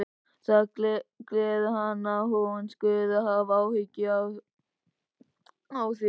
Það gleður hann að hún skuli hafa áhuga á því.